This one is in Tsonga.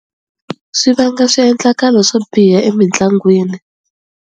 Swi vanga swiendlakalo swo biha emitlangwini.